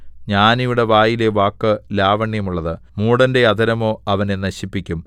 ജ്ഞാനിയുടെ വായിലെ വാക്ക് ലാവണ്യമുള്ളത് മൂഢന്റെ അധരമോ അവനെ നശിപ്പിക്കും